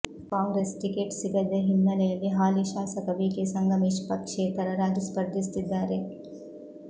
Congress ticket ಸಿಗದೆ ಹಿನ್ನಲೆಯಲ್ಲಿ ಹಾಲಿ ಶಾಸಕ ಬಿ ಕೆ ಸಂಗಮೇಶ್ ಪಕ್ಷೇತರರಾಗಿ ಸ್ಪರ್ಧಿಸುತ್ತಿದ್ದಾರೆ